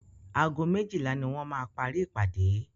Ago méjílà ní wọ́n máa parí ìpàdé.